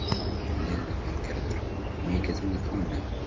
Lillý Valgerður: Mikið inn í gámnum?